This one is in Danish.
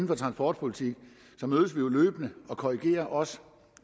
for transportpolitik så mødes vi jo løbende og korrigerer også